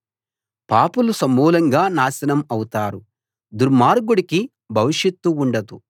పాపులు సమూలంగా నాశనం అవుతారు దుర్మార్గుడికి భవిష్యత్తు ఉండదు